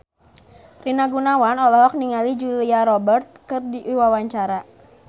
Rina Gunawan olohok ningali Julia Robert keur diwawancara